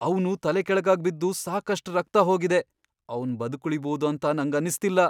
ಅವ್ನು ತಲೆಕೆಳಗಾಗ್ ಬಿದ್ದು ಸಾಕಷ್ಟ್ ರಕ್ತ ಹೋಗಿದೆ. ಅವ್ನ್ ಬದ್ಕುಳಿಬೋದು ಅಂತ ನಂಗನ್ನಿಸ್ತಿಲ್ಲ.